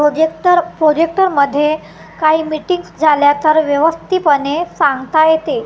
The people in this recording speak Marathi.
प्रोजेक्टर प्रोजेक्टर मध्ये काही मीटिंग्स झाल्या तर व्यवस्थितपणे सांगता येते.